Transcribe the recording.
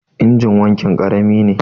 injin wankin karami ne